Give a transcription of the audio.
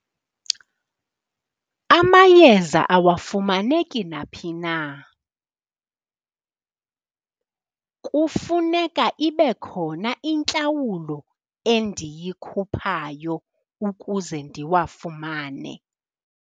Amayeza awafumaneki naphi na. Kufuneka ibe khona intlawulo endiyikhuphayo ukuze ndiwafumane.